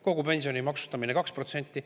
Kogu pensioni maksustamine 2%.